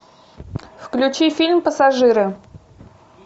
включи фильм пассажиры